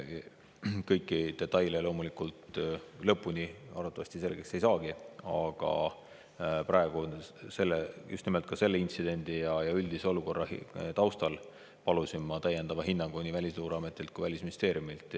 Kõiki detaile loomulikult lõpuni arvatavasti selgeks ei saagi ja praegu ma just nimelt selle intsidendi ja üldise olukorra tõttu palusingi täiendavat hinnangut nii Välisluureametilt kui ka Välisministeeriumilt.